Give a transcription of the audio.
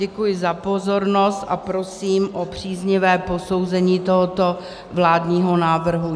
Děkuji za pozornost a prosím o příznivé posouzení tohoto vládního návrhu.